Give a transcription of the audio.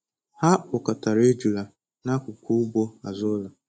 Ha kpọkọtara ejula n’akụkụ ugbo azụ ụlọ.